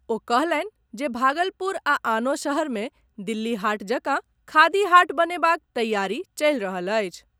ओ कहलनि जे भागलपुर आ आनो शहर मे दिल्ली हाट जकां खादी हाट बनेबाक तैयारी चलि रहल अछि।